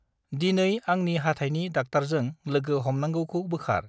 दिनै आंंनि हाथाइनि डाक्टारजों लोगो हमनांगौखौ बोखार।